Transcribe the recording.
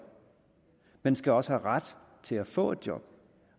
man skal også have ret til at få et job